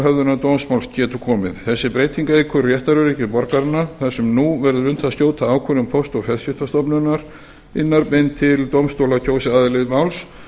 höfðunar dómsmáls getur komið þessi breyting eykur réttaröryggi borgaranna þar sem nú verður unnt að skjóta ákvörðunum póst og fjarskiptastofnunar beint til dómstóla kjósi aðili máls